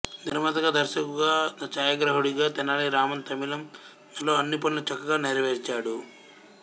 నిర్మాతగా దర్శకుగా ఛాయాగ్రాహకుడిగా తెనాలి రామన్ తమిళం లో అన్ని పనులు చక్కగా నెరవేర్చాడు